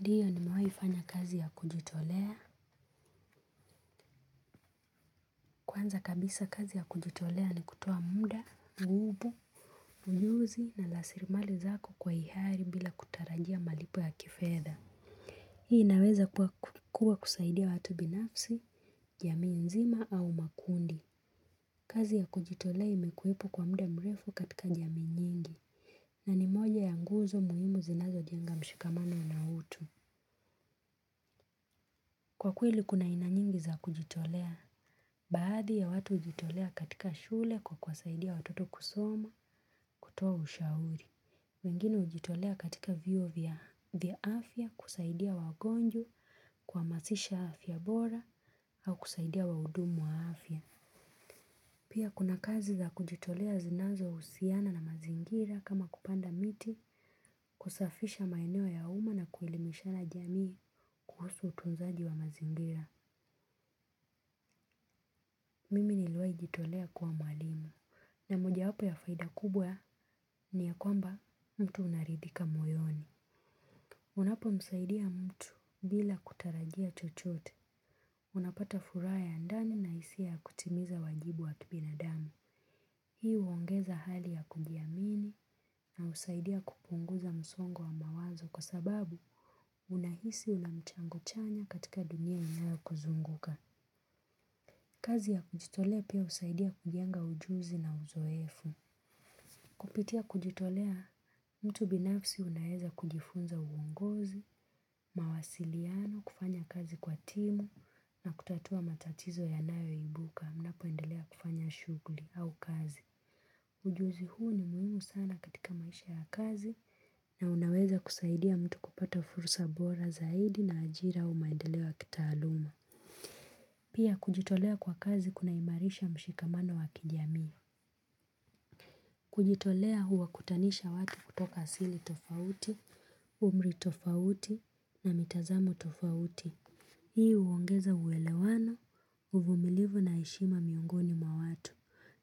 Ndiyo nimewai fanya kazi ya kujitolea. Kwanza kabisa kazi ya kujitolea ni kutoa muda, gubu, unyuzi na lasirimali zako kwa ihari bila kutarajia malipo ya kifedha. Hii naweza kuwa kusaidia watu binafsi jamii nzima au makundi. Kazi ya kujitolea imekuiwepo kwa muda mrefu katika jami nyingi na ni moja ya nguzo muhimu zinazojenga mshikamano unautu. Kwa kweli kuna aina nyingi za kujitolea. Baadhi ya watu hujitolea katika shule kwa kuwasaidia watoto kusoma kutoa ushauri. Wengine hujitolea katika vyuo vya afya kusaidia wagonjwa kuhamasisha afya bora au kusaidia waudumu wa afya. Pia kuna kazi za kujitolea zinazohusiana na mazingira kama kupanda miti kusafisha maeneo ya umma na kuelimishana jamii kuhusu utunzaji wa mazingira. Mimi niluwaijitolea kwa mwalimu. Na mojawapo ya faida kubwa ni ya kwamba mtu unaridhika moyoni. Unapomsaidia mtu bila kutarajia chochote. Unapata furaha ya ndani na isia kutimiza wajibu wa kibinadamu. Hii uongeza hali ya kujiamini na husaidia kupunguza msongo wa mawazo kwa sababu unahisi unamchango chanya katika dunia inayo kuzunguka. Kazi ya kujitolea pia husaidia kujenga ujuzi na uzoefu. Kupitia kujitolea mtu binafsi unaeza kujifunza uungozi, mawasiliano, kufanya kazi kwa timu na kutatua matatizo ya nayo ibuka unapoendelea kufanya shughli au kazi. Ujuzi huu ni muhimu sana katika maisha ya kazi na unaweza kusaidia mtu kupata fursa bora zaidi na ajira au maendeleo ya kitaaluma. Pia kujitolea kwa kazi kuna imarisha mshikamano wa kijamii. Kujitolea huwa kutanisha watu kutoka asili tofauti, umri tofauti na mitazamo tofauti. Hii huongeza uelewano, uvumilivu na heshima miongoni mwatu.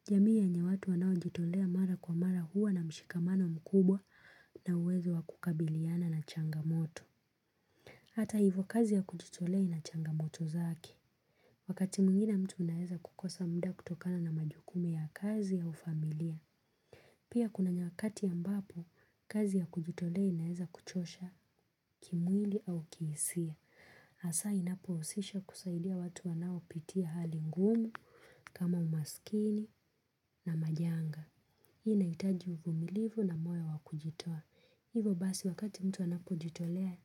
Jamii yenye watu wanao jitolea mara kwa mara huwa na mshikamano mkubwa na uwezo wakukabiliana na changamoto. Hata hivo kazi ya kujitolea ina changamoto zake. Wakati mwingine mtu unaeza kukosa mda kutokana na majukumu ya kazi wu familia. Pia kuna nyakati ambapo, kazi ya kujitolea inaeza kuchosha kimwili au kihisia. Asa inapohusisha kusaidia watu wanao pitia hali ngumu kama umasikini na majanga. Hii inahitaji uvumilivu na moyo wa kujitoa. Hivo basi wakati mtu anapojitolea,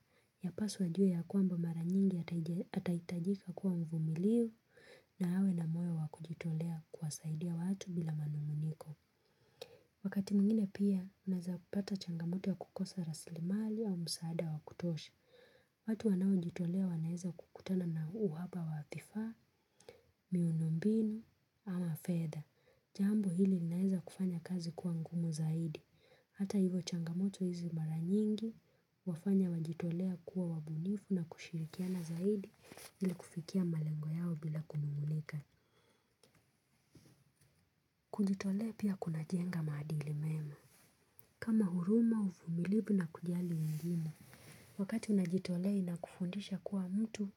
ya paswa ajue ya kwamba maranyingi ataitajika kuwa mvumilivu na hawe na moyo wa kujitolea kuwasaidia watu bila manunguniko. Wakati mwingine pia, unaeza kupata changamoto ya kukosa raslimali au msaada wa kutosha. Watu wanao jitolea wanaeza kukutana na uhaba wa vifaa, miundombinu ama fedha. Jambo hili linaeza kufanya kazi kuwangumu zaidi. Hata hivo changamoto hizi maranyingi wafanya wajitolea kuwa wabunifu na kushirikiana zaidi ili kufikia malengo yao bila kunungunika. Kujitolea pia kuna jenga maadili mema. Kama huruma uvumilivu na kujali wengine, wakati unajitolea ina kufundisha kuwa mtu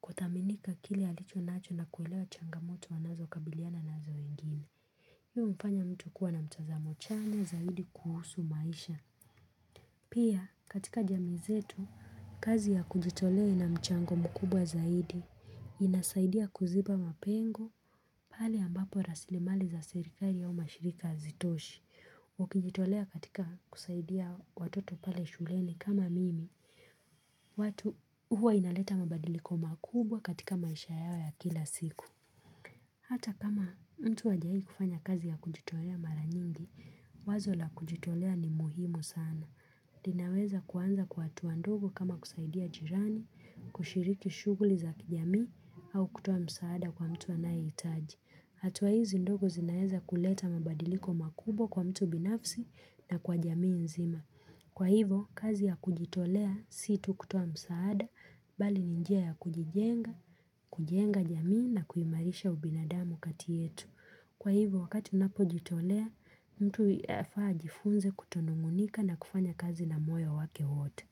kuthaminika kile alicho nacho na kuelewa changamoto wanazo kabiliana nazo wengine, hi umfanya mtu kuwa na mtazamo chanya zaidi kuhusu maisha. Pia katika jamii zetu, kazi ya kujitolea ina mchango mkubwa zaidi, inasaidia kuziba mapengo pale ambapo rasilimali za serikali au mashirika hazitoshi. Ukijitolea katika kusaidia watoto pale shuleni kama mimi, watu huwa inaleta mabadiliko makubwa katika maisha yao ya kila siku. Hata kama mtu hajai kufanya kazi ya kujitolea maranyingi, wazo la kujitolea ni muhimu sana. Ninaweza kuanza kwa hatuwa ndogo kama kusaidia jirani, kushiriki shuguli za kijamii au kutoa msaada kwa mtu anaye hitaji. Hatuwa hizi ndogo zinaeza kuleta mabadiliko makubwa kwa mtu binafsi na kwa jamii nzima. Kwa hivo, kazi ya kujitolea si tu kutoa msaada, bali ni njia ya kujijenga, kujenga jamii na kuhimarisha ubinadamu kati yetu. Kwa hivyo wakati unapo jitolea, mtu yafaa ajifunze kutonungunika na kufanya kazi na moyo wake wote.